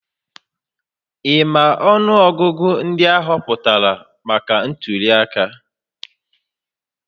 Ị ma ọnụọgụgụ ndị a họpụtara maka ntuliaka?